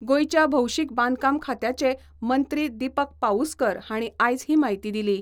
गोयच्या भौशिक बांदकाम खात्याचे मंत्री दिपक पाउस्कर हाणी आयज ही म्हायती दिली.